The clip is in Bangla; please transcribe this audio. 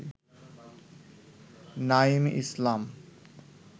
নাঈম ইসলাম